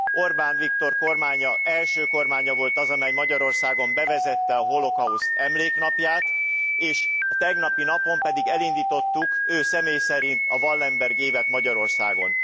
Orbán Viktor első kormánya volt az, amely Magyarországon bevezette a holokauszt emléknapját, és a tegnapi napon pedig elindítottuk ő személy szerint a Wallenberg évet Magyarországon.